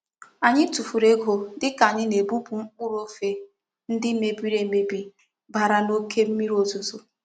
Anyi tufuru ego dika anyi na-ebupu mkpuru ofe ndi me biri emebi bara na oke mmiri ozuzo.